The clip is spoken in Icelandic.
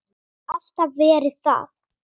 Og alltaf verið það.